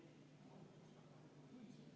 Ettepanek on toetust leidnud.